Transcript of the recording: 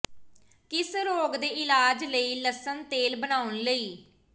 ਕਿਸ ਰੋਗ ਦੇ ਇਲਾਜ ਲਈ ਲਸਣ ਤੇਲ ਬਣਾਉਣ ਲਈ